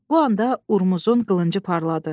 Bu anda Urmuzun qılıncı parladı.